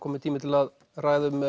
kominn tími til að ræða um